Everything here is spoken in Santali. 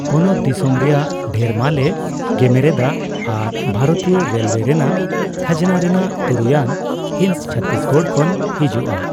ᱯᱚᱱᱚᱛ ᱫᱤᱥᱚᱢ ᱨᱮᱭᱟᱜ ᱰᱷᱮᱨ ᱢᱟᱞ ᱮ ᱜᱮᱢᱮᱨᱮᱫᱟ ᱟᱨ ᱵᱷᱟᱨᱚᱛᱤᱭᱚ ᱨᱮᱞᱣᱮ ᱨᱮᱱᱟᱜ ᱠᱷᱟᱡᱱᱟ ᱨᱮᱱᱟᱜ ᱛᱩᱨᱩᱭᱟᱱ ᱦᱤᱸᱥ ᱪᱷᱚᱛᱛᱤᱥᱜᱚᱲ ᱠᱷᱚᱱ ᱦᱤᱡᱩᱜᱼᱟ ᱾